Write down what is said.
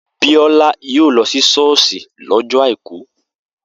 Biola yóò lọ sí ṣọ́ọ̀ṣì lọ́jọ́ àìkú